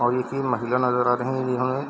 और एक महिला नजर आ रही है इहवाँ --